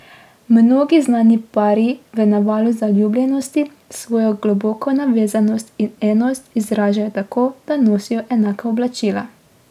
Mnogi znani pari v navalu zaljubljenosti svojo globoko navezanost in enost izražajo tako, da nosijo enaka oblačila.